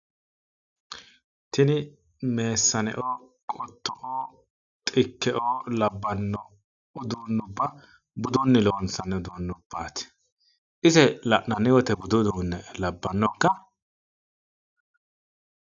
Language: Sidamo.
Tini meesaneoo, qotto"oo, xikkeoo labbanno uduunnubba budunni loonsanni uduunnubbaati. Ise la'nanni woyite budu uduunne labbanno ikka?